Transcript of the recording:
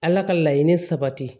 Ala ka laɲini sabati